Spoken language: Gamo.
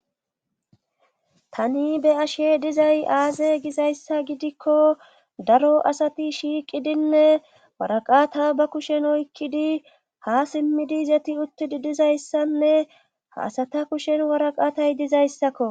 Tani be ashe dizay aaze gizayssa gidikko daro asati shiiqidinne waraqaata ba kushen oykkidi ha simmidi zeti uttidi dizayssanne haasata kushen waraqatay dizayssakko.